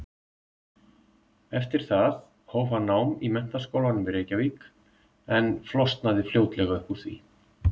Eftir það hóf hann nám í Menntaskólanum í Reykjavík en flosnaði fljótlega upp úr því.